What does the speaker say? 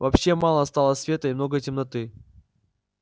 вообще мало стало света и много темноты